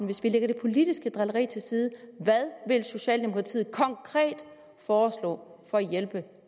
hvis vi lægger det politiske drilleri til side hvad vil socialdemokratiet konkret foreslå for at hjælpe